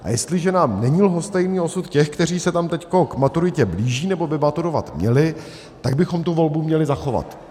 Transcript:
A jestliže nám není lhostejný osud těch, kteří se tam teď k maturitě blíží, nebo by maturovat měli, tak bychom tu volbu měli zachovat.